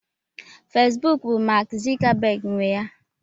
Facebook bụ Mark Zuckerberg nwe ya.